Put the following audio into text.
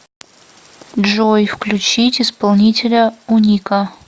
джой включить исполнителя уника